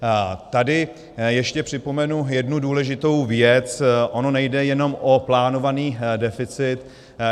Tady ještě připomenu jednu důležitou věc - ono nejde jenom o plánovaný deficit.